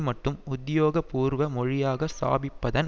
மட்டும் உத்தியோகபூர்வ மொழியாக ஸ்தாபிப்பதன்